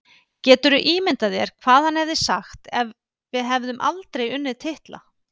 Geturðu ímyndað þér hvað hann hefði sagt ef við hefðum aldrei unnið titla?